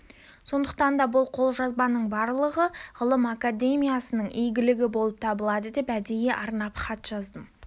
сондықтан да бұл қолжазбаның барлығы ғылым академиясының игілігі болып табылады деп әдейі арнап хат жаздым